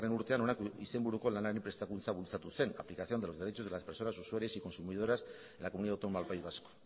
urtean honako izenburuko lanari prestakuntza bultzatu zen aplicación de los derechos de las personas usuarias y consumidoras de la comunidad autónoma del país vasco